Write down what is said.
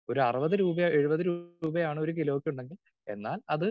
speaker 2 ഒരറുപത് രൂപ എഴുപത് രൂപയാണ് ഒരു കിലോയ്ക്കുണ്ടെങ്കിൽ എന്നാൽ അത്